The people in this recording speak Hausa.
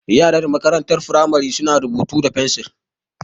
Yaran makarantar firamari su na rubutu da fensil